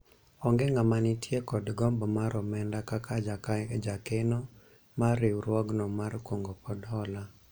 onge ng'ama nitie kod gombo mar omenda kaka jakeno mar riwruogno mar kungo kod hola